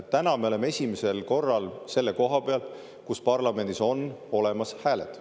Täna me oleme esimesel korral selle koha peal, kus parlamendis on olemas hääled.